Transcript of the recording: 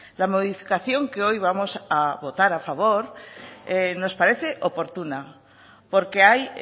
la modificación que hoy vamos a votar a favor nos parece oportuna porque hay